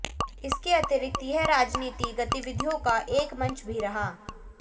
इसके अतिरिक्त यह राजनिति गतविधियोँ का एक मंच भी रहा